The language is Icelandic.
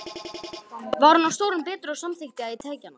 Var hún stórum betri, og samþykkti ég að taka hana.